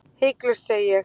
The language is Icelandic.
Hiklaust segi ég.